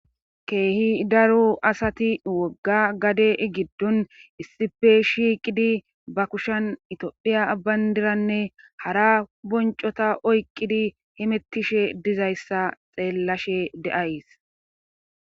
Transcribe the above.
keehi daro asati wogga gade giddon issife shiiqidi ba kushan itodhiya abbayndiranne hara boncota oyqqidi himettishe dizayssa xeellashe deays